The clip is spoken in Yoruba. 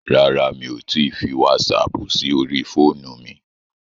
Rárá, mi ò tíì fi wásaapù sí orí fóònù mi.